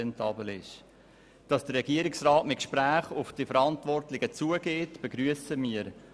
Dass der Regierungsrat mit Gesprächen auf die Verantwortlichen zugeht, begrüssen wir.